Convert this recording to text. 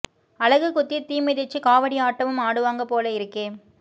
அலகு குத்தி தீ மிதிச்சு காவடி ஆட்டமும் ஆடுவாங்க போல இருக்கே